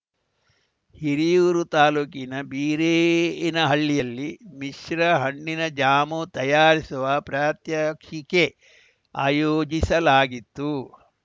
ಹಿರಿಯೂರು ತಾಲೂಕಿನ ಬೀರೇನಹಳ್ಳಿಯಲ್ಲಿ ಮಿಶ್ರ ಹಣ್ಣಿನ ಜಾಮ್‌ ತಯಾರಿಸುವ ಪ್ರಾತ್ಯಕ್ಷಿಕೆ ಆಯೋಜಿಸಲಾಗಿತ್ತು